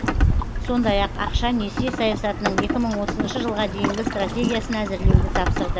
сондай ақ ақша несие саясатының екі мың отызыншы жылға дейінгі стратегиясын әзірлеуді тапсырды